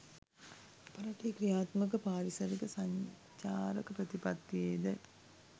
අප රටේ ක්‍රියාත්මක පාරිසරික සංචාරක ප්‍රතිපත්තියේ ද